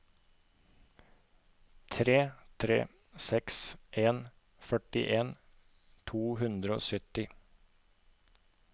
tre tre seks en førtien to hundre og sytti